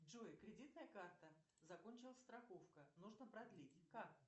джой кредитная карта закончилась страховка нужно продлить как